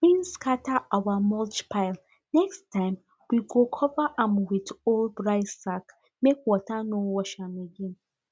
rain scatter our mulch pile next time we go cover am with old rice sack make water no wash am again